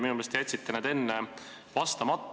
Minu meelest te jätsite enne vastamata.